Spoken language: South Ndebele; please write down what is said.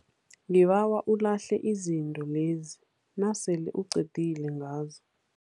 Ngibawa ulahle izinto lezi nasele uqedile ngazo.